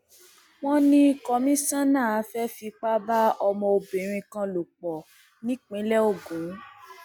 wọn ní kọmíṣánná fẹẹ fipá bá ọmọbìnrin kan lò pọ nípìnlẹ ogun